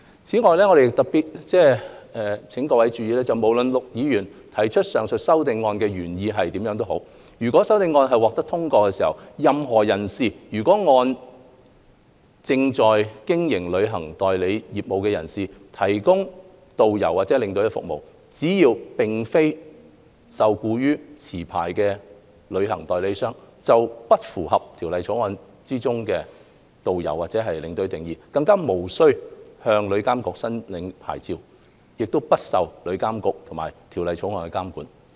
此外，我想特別請各位注意，無論陸議員提出上述修正案的原意為何，如果有關修正案獲得通過，任何人士，如按照正在經營旅行代理商業務的人士的指示提供導遊和領隊服務，只要並非受僱於持牌旅行代理商，便不符合《條例草案》中導遊和領隊的定義，便無須向旅監局申領牌照，不受旅監局及《條例草案》監管。